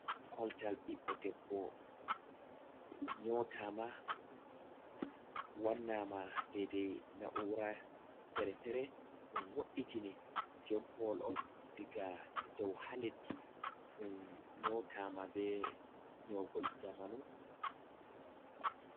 Koltal ɓiɗɗo debbo nyotama wannama dedai na'ura fere-fere ɗum wo’itini jon paul on diga dou haleddi ɗum nyotama be nyogol zamanu.